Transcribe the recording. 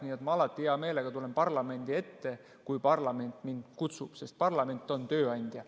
Nii et ma alati hea meelega tulen parlamendi ette, kui parlament mind kutsub, sest parlament on tööandja.